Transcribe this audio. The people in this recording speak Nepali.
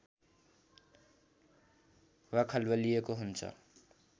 वा खलबलिएको हुन्छ